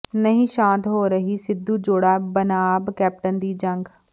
ਨਹੀਂ ਸ਼ਾਂਤ ਹੋ ਰਹੀ ਸਿੱਧੂ ਜੋੜਾ ਬਨਾਮ ਕੈਪਟਨ ਦੀ ਜੰਗ